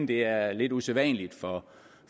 det er lidt usædvanligt